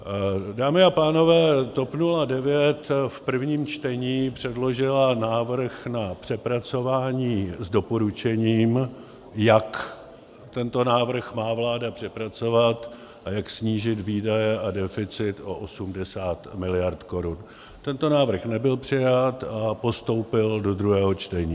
Dámy a pánové, TOP 09 v prvním čtení předložila návrh na přepracování s doporučením, jak tento návrh má vláda přepracovat a jak snížit výdaje a deficit o 80 miliard korun, tento návrh nebyl přijat, a postoupil do druhého čtení.